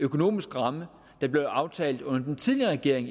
økonomiske ramme der blev aftalt under den tidligere regering